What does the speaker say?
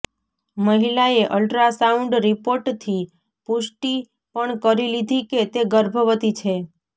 મહિલાએ અલ્ટ્રાસાઉન્ડ રિપોર્ટથી પુષ્ટિ પણ કરી લીધી કે તે ગર્ભવતી છે